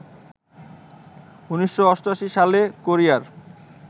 ১৯৮৮ সালে কোরিয়ার